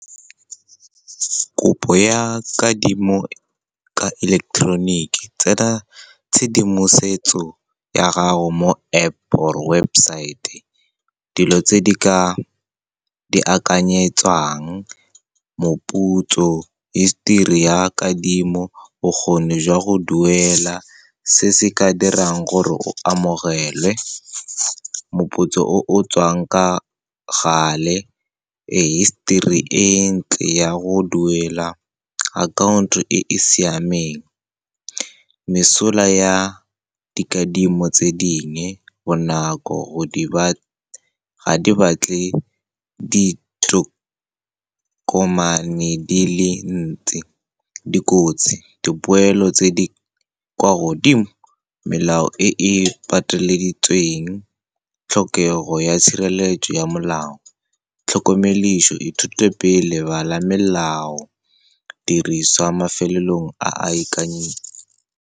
Kopo ya kadimo ka electronic, tsena tshedimosetso ya gago mo App or website, dilo tse ka di akanyetswang, moputso, history ya kadimo, bokgoni jwa go duela. Se se ka dirang gore o amogelwe, moputso o tswang ka gale, history e ntle ya go duela akhaonto e e siameng. Mesola ya dikadimo tse dingwe, bonako, ga di batle ditokomane di le ntsi. Dikotsi, dipoelo tse di kwa godimo, melao e e pateleditsweng, tlhokego ya tshireletso ya molao. Tlhokomediso, ithute pele, bala melao, diriswa mafelelong a a .